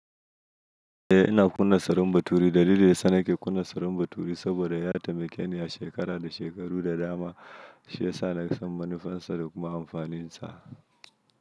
E, ina kunna salon baturi. Dalili da sana ke kunna salon baturi saboda ya taimakeni a shekara da shekaru da dama, shi ya sa na san manufarsa da kuma amfaninsa.